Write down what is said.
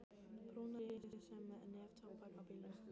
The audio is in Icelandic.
Brúna rykið sem neftóbak á bílnum.